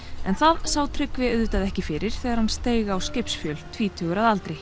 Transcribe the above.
en það sá Tryggvi auðvitað ekki fyrir þegar hann steig á skipsfjöl tvítugur að aldri